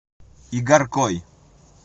игаркой